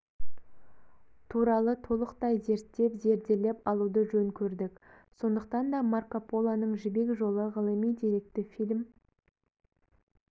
туралы толықтай зерттеп зерделеп алуды жөн көрдік сондықтан да марко полоның жібек жолы ғылыми-деректі фильм